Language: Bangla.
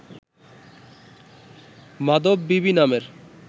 মাধববিবি নামের